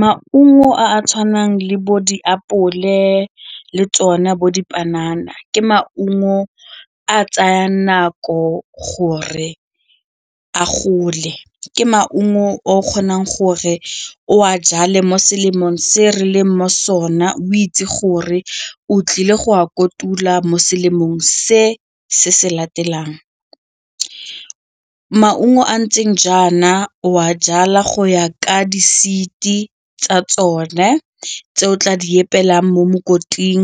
Maungo a a tshwanang le bo diapole le tsona bo dipanana ke maungo a tsayang nako gore a gole, ke maungo o kgonang gore o a jale mo selemong se re leng mo sone o itse gore o tlile go a kotula mo seemong se se se latelang. Maungo a ntseng jaana o a jala go ya ka di-seed-i tsa tsone tse o tla di apelwang mo mokoting